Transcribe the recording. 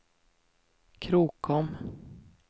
Krokom